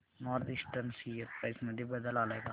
north eastern share price मध्ये बदल आलाय का